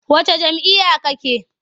Wacce jam'iyyar kake?